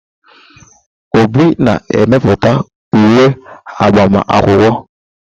Obi na-emepụta uwe agbama akwụkwọ.